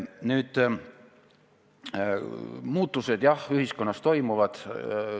Jah, muutused ühiskonnas toimuvad.